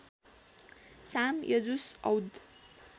साम यजुस् औद